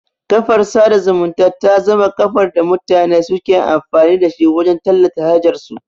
Kafar sada zumunta ta zama kafar da mutane suke amfani da shi wajan tallata hajar su